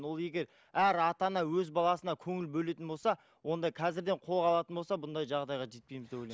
ол егер әр ата ана өз баласына көңіл бөлетін болса онда қазірден қолға алатын болса бұндай жағдайға жетпейміз деп ойлаймын